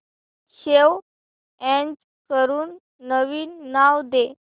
save as करून नवीन नाव दे